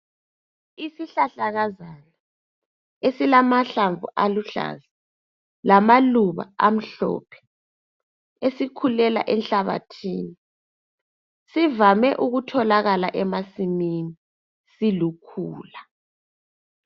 Isihlahlakazana esilamahlamvu aluhlaza lamaluba amhlophe esikhulela enhlabathini. Sivame okutholakala emasimini. Silukhula.